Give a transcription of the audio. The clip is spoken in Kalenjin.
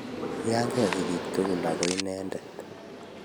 Kiyangee sigiik tugul ago inendet